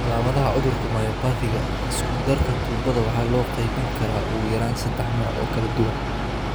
Calaamadaha cudurka myopathy-ga isku-darka tuubada waxaa loo qaybin karaa ugu yaraan saddex nooc oo kala duwan.